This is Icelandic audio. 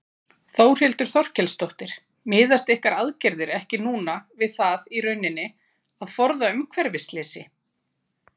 Þórhildur Þorkelsdóttir: Miðast ykkar aðgerðir ekki núna við það í rauninni að forða umhverfisslysi?